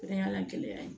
O de y'a la gɛlɛya ye